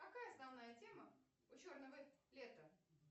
какая основная тема у черного лета